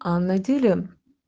а на деле